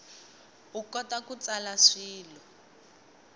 u kota ku tsala swilo